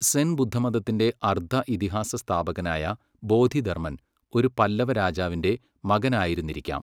സെൻ ബുദ്ധമതത്തിന്റെ അർദ്ധ ഇതിഹാസ സ്ഥാപകനായ ബോധിധർമ്മൻ ഒരു പല്ലവ രാജാവിന്റെ മകനായിരുന്നിരിക്കാം.